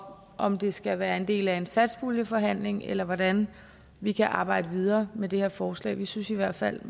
om det skal være en del af en satspuljeforhandling eller hvordan vi kan arbejde videre med det her forslag vi synes i hvert fald